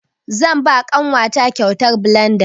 Zan ba ƙanwa ta kyautar blanda.